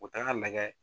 U taga lagɛ